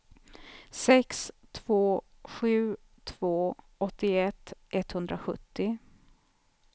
sex två sju två åttioett etthundrasjuttio